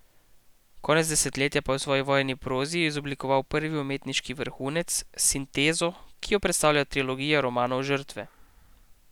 Konec desetletja pa je v svoji vojni prozi izoblikoval prvi umetniški vrhunec, sintezo, ki jo predstavlja trilogija romanov Žrtve.